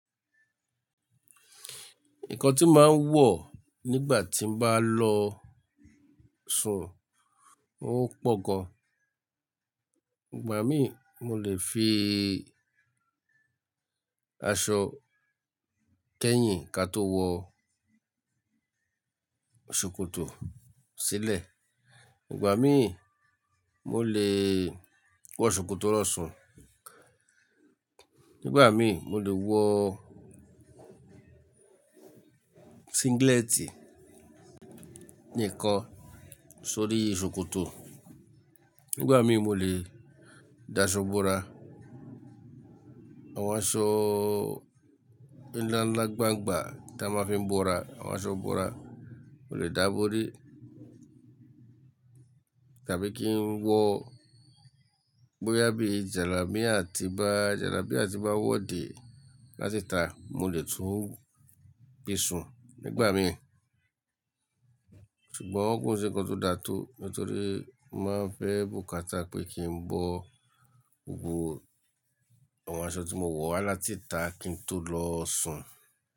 Nǹkan tí màá ń wọ̀ nígbà tí m'bá lọ sùn, ó pò gan. Nígbà mí mo lè fi aṣọ kẹ́yìn ka tó wọ ṣòkòtò sílẹ̀. Nígbà mí mo lè wọ ṣòkòtò lọ́ sùn. Nígbà mí mo lè wọ singlet níkan sórí ṣòkòtò. Nígbà mí mo lè dá aṣọ bora, àwọn aṣọ ńlá ńlá gbángbà tí a máa fi ń bora, àwọn aṣọ bora mo lè dá bóri. Tàbí kí n wọ bóyá bí jàlamia àti bá jàlábia àti bá wọ́ dè látita, mo lè tún gbé sùn nígbà mí. Ṣùgbọ́n kò sí ǹkan tó da tó, nítorí màá fẹ́ bùkátà pé kí n bọ́ gbogbo àwọn aṣọ tí mo wọ̀ wá látìta kí n tó lọ sùn.